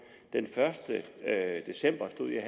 den første december stod jeg